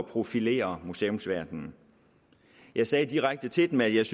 profilere museumsverdenen jeg sagde direkte til dem at jeg